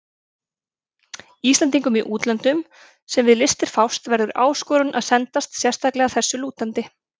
Íslendingum í útlöndum, sem við listir fást, verður áskorun að sendast sérstaklega þessu að lútandi.